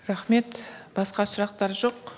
рахмет басқа сұрақтар жоқ